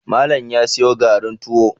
Malam ya siyo garin tuwo